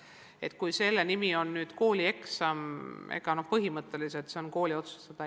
See, kas selle nimi on koolieksam, on põhimõtteliselt kooli otsustada.